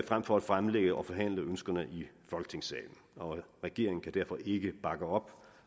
frem for at fremlægge og forhandle ønskerne i folketingssalen regeringen kan derfor ikke bakke op